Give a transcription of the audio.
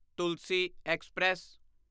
Tulsi express